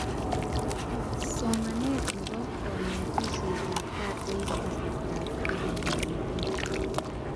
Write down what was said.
Somanet nebo konetishetab gaa eng kasartaab Covid-19